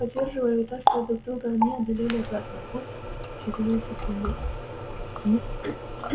поддерживая и вытаскивая друг друга они одолели обратный путь в считанные секунды